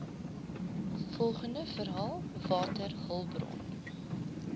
volgende verhaal waterhulpbron